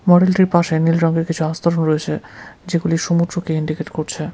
মডেলটির পাশে নীল রংয়ের কিছু আস্তরণ রয়েছে যেগুলি সমুদ্রকে ইন্ডিকেট করছে।